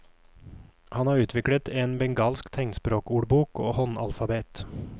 Han har utviklet en bengalsk tegnspråkordbok og håndalfabet.